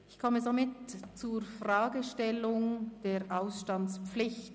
Ich komme somit zur Fragestellung der Ausstandspflicht.